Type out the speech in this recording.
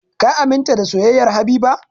Ka aminta da soyayyar Habiba!